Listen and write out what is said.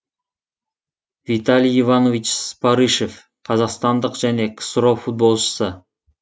виталий иванович спарышев қазақстандық және ксро футболшысы